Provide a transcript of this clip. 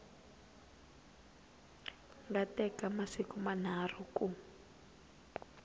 nga teka masiku manharhu ku